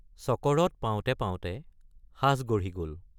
চকৰদ পাওঁতে পাওঁতে সাজ গঢ়ি গল।